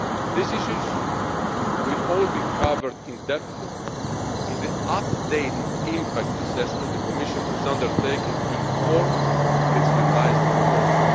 way. These issues will all be covered in depth in the updated impact assessment the Commission is undertaking in order to inform its revised proposal.